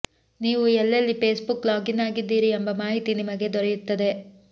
ನೀವು ಎಲ್ಲೆಲ್ಲಿ Facebook login ಆಗಿದ್ದೀರಿ ಎಂಬ ಮಾಹಿತಿ ನಿಮಗೆ ದೊರೆಯುತ್ತದೆ